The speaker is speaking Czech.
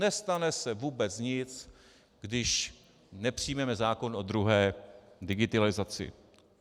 Nestane se vůbec nic, když nepřijmeme zákon o druhé digitalizaci.